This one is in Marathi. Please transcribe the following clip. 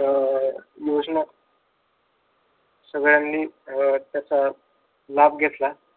अं योजना सगळ्यांनी त्याचा लाभ घेतला.